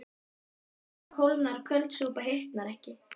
Heit súpa kólnar köld súpa hitnar ekki